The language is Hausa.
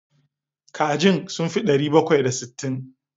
Kajin sun fi ɗari bakwai da sittin?